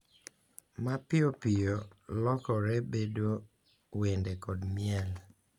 Ma piyo piyo lokore bedo wende kod miel.